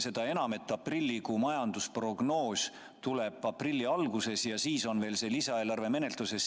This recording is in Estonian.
Seda enam, et aprillikuu majandusprognoos tuleb aprilli alguses ja siis on lisaeelarve veel menetluses.